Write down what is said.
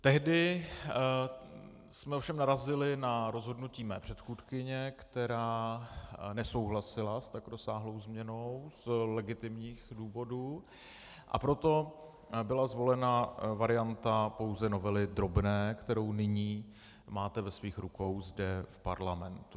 Tehdy jsme ovšem narazili na rozhodnutí mé předchůdkyně, která nesouhlasila s tak rozsáhlou změnou z legitimních důvodů, a proto byla zvolena varianta pouze novely drobné, kterou nyní máte ve svých rukou zde v parlamentu.